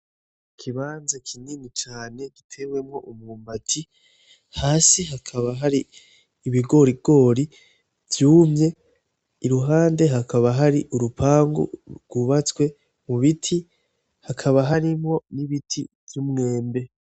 Ikibanza kinini cane gitewemwo umwumbati. Hasi hakaba hari ibigorigori vyumye, iruhande hakaba hari urupangu rwubatswe mu biti hakaba harimwo n'ibiti vy'umwembe.